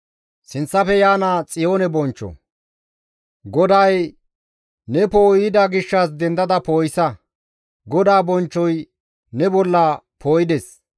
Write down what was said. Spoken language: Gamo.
GODAY, «Ne poo7oy yida gishshas dendada poo7isa; GODAA bonchchoy ne bolla poo7ides.